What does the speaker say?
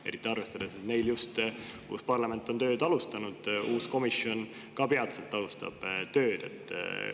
Eriti arvestades, et uus parlament on just tööd alustanud ja ka uus komisjon alustab peatselt tööd.